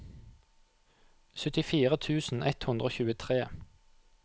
syttifire tusen ett hundre og tjuetre